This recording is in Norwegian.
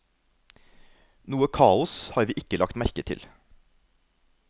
Noe kaos har vi ikke lagt merke til.